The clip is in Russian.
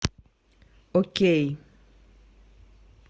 окей